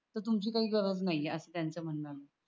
त तुमची काही गरज नाही आहे अस त्याच म्हणन